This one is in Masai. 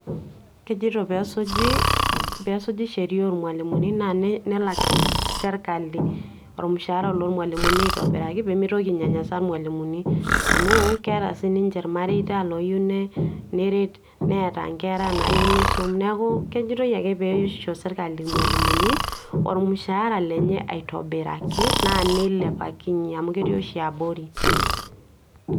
Kejoito pesuji pesuji sheria olmalimuni, na nelak serkali olmushara lomalimuni aitobiraki pemitoki ainyanyasa ilmalimuni, amu keeta sininche ilmareita loyieu neret neeta enkera nayieu nisum niaku kejoitoi ake peisho serkali ilmalimuni, olmushara lenye aitobiraki na nilepakinye amu keti oshi abori.